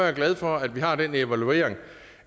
er glad for at vi har den evaluering